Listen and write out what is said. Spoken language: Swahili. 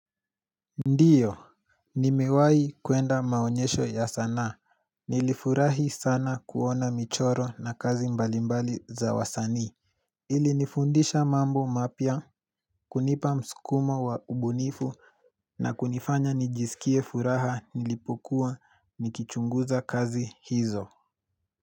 Ndiyo, nimewahi kuenda maonyesho ya sanaa, nilifurahi sana kuona michoro na kazi mbalimbali za wasani Ili nifundisha mambo mapya, kunipa mskumo wa ubunifu na kunifanya nijisikie furaha nilipokuwa nikichunguza kazi hizo.